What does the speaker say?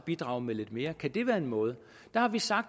bidrage med lidt mere kan det være en måde der har vi sagt